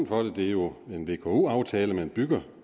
for det det er jo en vko aftale man bygger